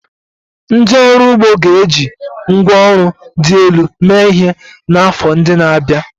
Ndị ọrụ ugbo ga-eji ngwá ọrụ dị elu mee ihe n'afọ ndị na-abịa.